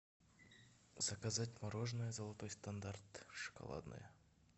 заказать мороженое золотой стандарт шоколадное